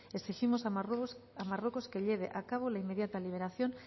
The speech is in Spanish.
exigimos a marruecos que lleve a cabo la inmediata liberación